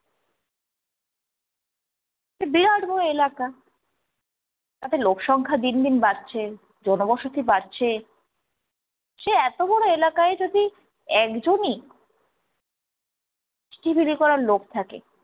বিরাট বড়ো এলাকা তাতে লোক সংখ্যা দিন দিন বাড়ছে, জন বসতি বাড়ছে, সেই এতো বড় এলাকায় যদি একজনই চিঠি বিলি করার লোক থাকে